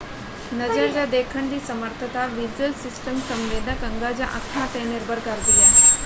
ਨਜ਼ਰ ਜਾਂ ਦੇਖਣ ਦੀ ਸਮਰੱਥਤਾ ਵਿਜ਼ੂਅਲ ਸਿਸਟਮ ਸੰਵੇਦਕ ਅੰਗਾਂ ਜਾਂ ਅੱਖਾਂ 'ਤੇ ਨਿਰਭਰ ਕਰਦੀ ਹੈ।